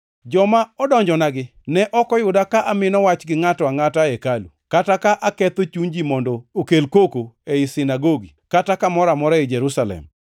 Joma odonjonagi ne ok oyuda ka amino wach gi ngʼato angʼata e hekalu, kata ka aketho chuny ji mondo okel koko ei sinagogi kata kamoro amora ei Jerusalem.